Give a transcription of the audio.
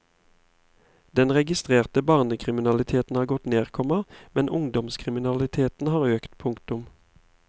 Den registrerte barnekriminaliteten har gått ned, komma men ungdomskriminaliteten har økt. punktum